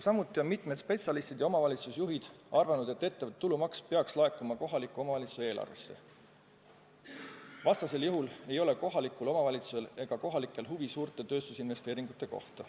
Mitmed spetsialistid ja omavalitsusjuhid arvavad, et ettevõtte tulumaks peaks laekuma kohaliku omavalitsuse eelarvesse, vastasel juhul ei ole kohalikul omavalitsusel ega kohalikel inimestel huvi suurte tööstusinvesteeringute vastu.